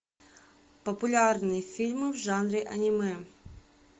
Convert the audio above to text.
популярные фильмы в жанре аниме